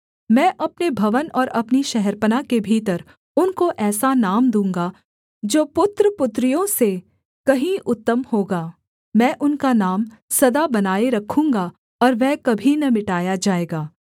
मैं अपने भवन और अपनी शहरपनाह के भीतर उनको ऐसा नाम दूँगा जो पुत्रपुत्रियों से कहीं उत्तम होगा मैं उनका नाम सदा बनाए रखूँगा और वह कभी न मिटाया जाएगा